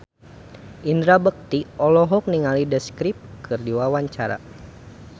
Indra Bekti olohok ningali The Script keur diwawancara